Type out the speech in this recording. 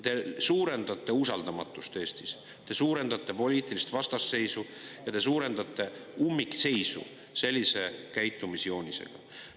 Te suurendate usaldamatust Eestis, te suurendate poliitilist vastasseisu ja te suurendate ummikseisu sellise käitumisjoonisega.